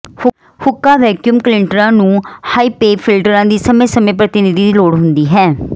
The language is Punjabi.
ਹੁੱਕਾ ਵੈਕਯੂਮ ਕਲੀਨਟਰਾਂ ਨੂੰ ਹਾਇਪਏ ਫਿਲਟਰਾਂ ਦੀ ਸਮੇਂ ਸਮੇਂ ਪ੍ਰਤੀਨਿਧੀ ਦੀ ਲੋੜ ਹੁੰਦੀ ਹੈ